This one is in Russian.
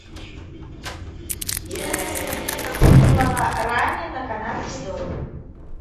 стоимость обмена гуарани на канадский доллар